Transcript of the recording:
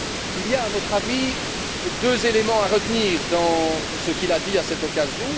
Il y a, à notre avis, deux éléments à retenir dans ce qu'il a déclaré à cette occasion.